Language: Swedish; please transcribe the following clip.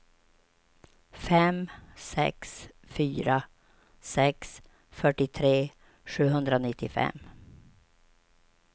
fem sex fyra sex fyrtiotre sjuhundranittiofem